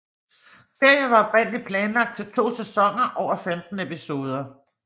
Serien var oprindeligt planlagt til to sæsoner over 15 episoder